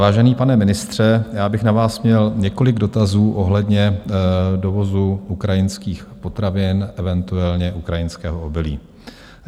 Vážený pane ministře, já bych na vás měl několik dotazů ohledně dovozu ukrajinských potravin, eventuálně ukrajinského obilí.